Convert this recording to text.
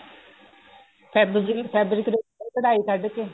fabric fabric ਦੇ ਉੱਪਰ ਕਢਾਈ ਕੱਢਕੇ